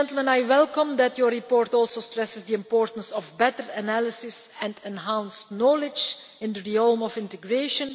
I welcome that your report also stresses the importance of better analysis and enhanced knowledge in the realm of integration.